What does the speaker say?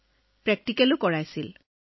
তাৰ পিছত আমাক আকৌ ব্যৱহাৰিক দিশ শিকোৱা হৈছিল